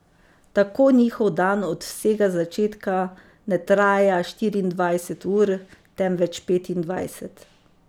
Tako njihov dan od vsega začetka ne traja štiriindvajset ur, temveč petindvajset.